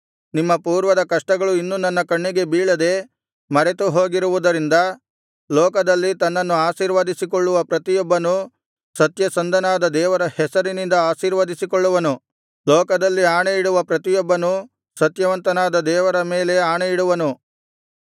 ನಿಮ್ಮ ಪೂರ್ವದ ಕಷ್ಟಗಳು ಇನ್ನು ನನ್ನ ಕಣ್ಣಿಗೆ ಬೀಳದೆ ಮರೆತು ಹೋಗಿರುವುದರಿಂದ ಲೋಕದಲ್ಲಿ ತನ್ನನ್ನು ಆಶೀರ್ವದಿಸಿಕೊಳ್ಳುವ ಪ್ರತಿಯೊಬ್ಬನೂ ಸತ್ಯಸಂಧನಾದ ದೇವರ ಹೆಸರಿನಿಂದ ಆಶೀರ್ವದಿಸಿಕೊಳ್ಳುವನು ಲೋಕದಲ್ಲಿ ಆಣೆಯಿಡುವ ಪ್ರತಿಯೊಬ್ಬನೂ ಸತ್ಯವಂತನಾದ ದೇವರ ಮೇಲೆ ಆಣೆಯಿಡುವನು